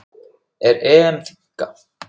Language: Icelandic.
Er EM þynnka?